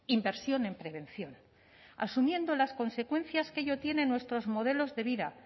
inversión en prevención asumiendo las consecuencias que ello tiene en nuestros modelos de vida